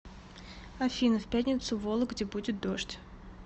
афина в пятницу в вологде будет дождь